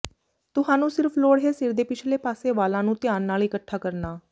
ਤੁਹਾਨੂੰ ਸਿਰਫ ਲੋੜ ਹੈ ਸਿਰ ਦੇ ਪਿਛਲੇ ਪਾਸੇ ਵਾਲਾਂ ਨੂੰ ਧਿਆਨ ਨਾਲ ਇਕੱਠਾ ਕਰਨਾ